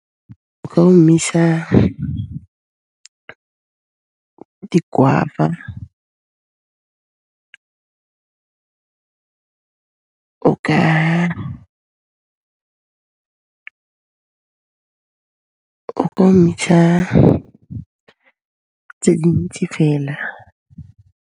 O ka omisa ke guava o ka o ka omisa tse dintsi fela.